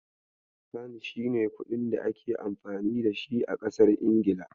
Fan shine kuɗin da ake amfani dashi a kasar Ingila.